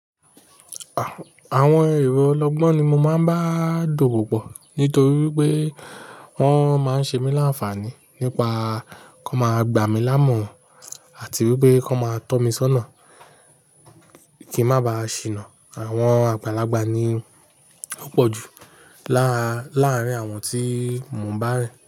Àwọn èrò ọlọ́gbọ́n ni mo máa ń bá dowo pọ̀ nítorí pé wọ́n máa ń ṣe mí láǹfààní nípa kó máa gbà mí láàmoran àti wípé kó n máa tọ́ mi sọ́nà kí n má ba à ṣìnà. Àwọn àgbàlagbà ni wọ́pọ̀ ju láárín àwọn tí mo ń bá rìn.